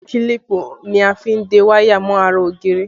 Kílípù ni a fi ń de wáyà mọ́ ara ògiri